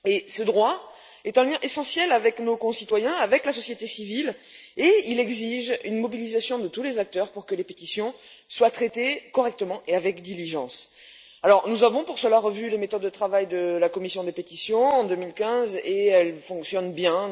Ce droit est un lien essentiel avec nos concitoyens et la société civile et il exige une mobilisation de tous les acteurs pour que les pétitions soient traitées correctement et avec diligence. Nous avons revu, à cette fin, les méthodes de travail de la commission des pétitions en 2015 et elles fonctionnent bien.